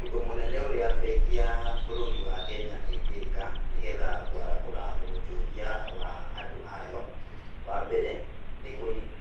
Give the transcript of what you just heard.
Ũndũ mũnene ũria bengi ya bũrũri wa Kenya ĩngĩĩka nĩgetha kũarahũra wonjoria wa andũ ayo, wa mbere, nĩ